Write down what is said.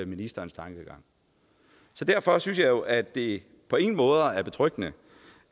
ministerens tankegang så derfor synes jeg jo at det på ingen måde er betryggende